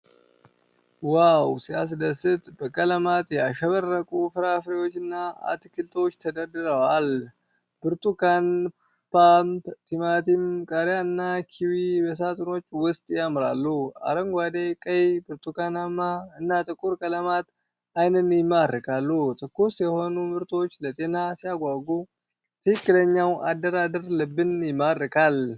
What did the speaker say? ዋው ሲያስደስት! በቀለማት ያሸበረቁ ፍራፍሬዎችና አትክልቶች ተደርድረዋል። ብርቱካን፣ ፖም፣ ቲማቲም፣ ቃሪያና ኪዊ በሳጥኖች ውስጥ ያምራሉ። አረንጓዴ፣ ቀይ፣ ብርቱካናማ እና ጥቁር ቀለማት ዓይንን ይማርካሉ። ትኩስ የሆኑ ምርቶች ለጤና ሲያጓጉ! ትክክለኛው አደራደር ልብን ይማርካል!